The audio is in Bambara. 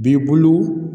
B'i bolo